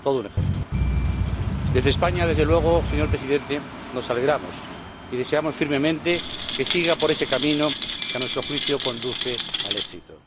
Todo un ejemplo. Desde España, desde luego, señor Presidente, nos alegramos y deseamos firmemente que siga por ese camino que, a nuestro juicio, conduce al éxito.